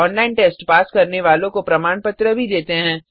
online test pass करने वालों को प्रमाण पत्र भी देते हैं